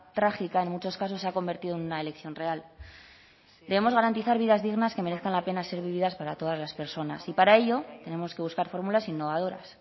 trágica en muchos casos se ha convertido en una elección real debemos garantizar vidas dignas que merezcan la pena ser vividas para todas las personas y para ello tenemos que buscar fórmulas innovadoras